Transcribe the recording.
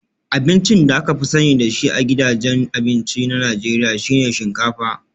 Abincin da aka fi sani da shi a gidajen abinci na Najeriya shi ne shinkafa